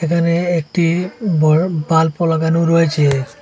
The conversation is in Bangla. এখানে একটি বড় বাল্বও লাগানো রয়েছে।